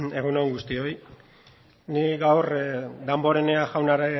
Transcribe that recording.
egun on guztioi ni gaur damborenea